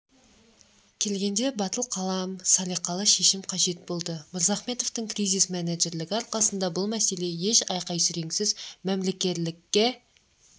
келгенде батыл қалам салиқалы шешім қажет болды мырзахметовтың кризис-менеджерлігі арқасында бұл мәселе еш айқай-сүреңсіз мәмілегерлікке